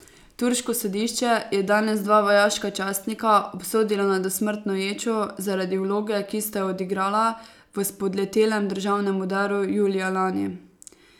Turško sodišče je danes dva vojaška častnika obsodilo na dosmrtno ječo zaradi vloge, ki sta jo odigrala v spodletelem državnem udaru julija lani.